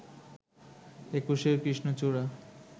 একুশের কৃষ্ণচূড়া